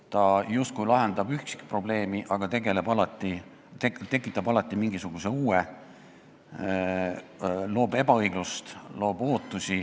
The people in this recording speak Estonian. Ta justkui lahendab üksikprobleemi, aga tekitab alati mingisuguse uue probleemi, ta loob ebaõiglust, loob ootusi.